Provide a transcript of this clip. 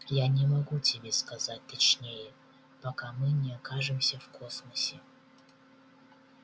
я не могу тебе сказать точнее пока мы не окажемся в космосе